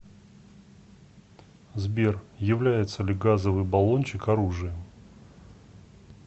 сбер является ли газовый баллончик оружием